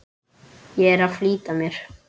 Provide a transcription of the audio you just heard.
Ég er að flýta mér!